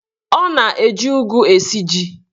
Ọ na-eji ụgụ esi ji.